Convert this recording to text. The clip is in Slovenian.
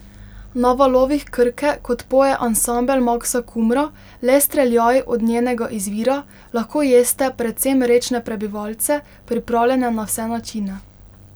Na valovih Krke, kot poje ansambel Maksa Kumra, le streljaj od njenega izvira, lahko jeste predvsem rečne prebivalce, pripravljene na vse načine.